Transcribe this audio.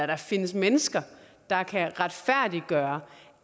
der findes mennesker der kan retfærdiggøre